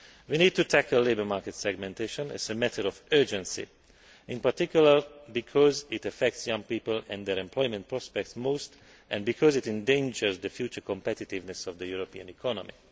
We need to tackle labour market segmentation as a matter of urgency, in particular, because it affects young people and their employment prospects most and because it endangers the future competitiveness of the European economy.